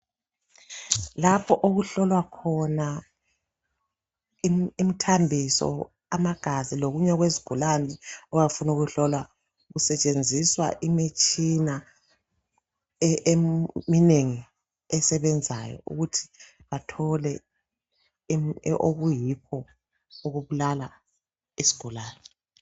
Lapho okuhlolwa khona im.. imthambiso , amagazi lokunye okwezigulane okuya kufuna ukuhlolwa kusetshenziswa imitshina eminengi esebenzayo ukuthi athole im.. okuyikho okubulala isigulane.